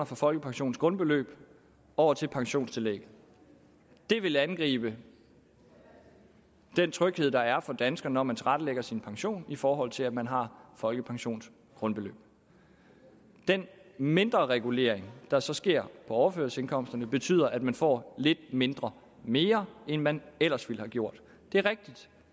fra folkepensionens grundbeløb over til pensionstillægget det vil angribe den tryghed der er for dansker når man tilrettelægger sin pension i forhold til at man har folkepensionens grundbeløb den mindre regulering der så sker på overførselsindkomsterne betyder at man får lidt mindre mere end man ellers ville have gjort det er rigtigt